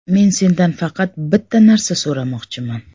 Men sendan faqat bitta narsa so‘ramoqchiman.